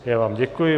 Já vám děkuji.